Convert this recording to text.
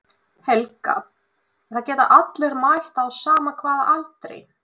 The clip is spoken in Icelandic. Helga: En það geta allir mætt á sama hvaða aldri?